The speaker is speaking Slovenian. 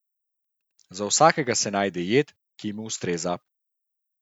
Za vsakega se najde jed, ki mu ustreza.